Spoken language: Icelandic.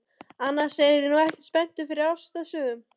Annars er ég nú ekkert spenntur fyrir ástarsögum.